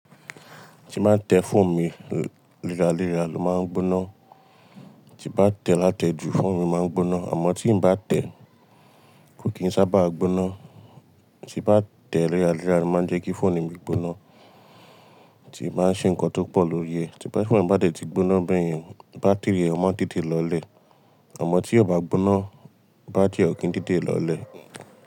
Tí má tẹ fọ́ọ̀nù mi lèralera ló má ń gbóná. Tí bá tẹ̀ lá tẹ ju fọ́ọ̀nù mi má ń gbóná. Àmọ́ tí ǹ bá tẹ ko kì ń sábà gbóná. Tí bá tẹ lèralera ló má ń jẹ́ kí fọ́ọ̀nù mi gbóná. Tí ǹ bá ń ṣe ǹkan tó pọ̀ lórí ẹ̀. Tí bá fọ́ọ̀nù bá tẹ́ ti gbóná bẹ́yẹn bátìrì rẹ̀ má ń tètè lọlẹ̀. Àmọ́ tí ò bá gbóná bátìrì ọ̀ kí ń tètè lọlẹ̀.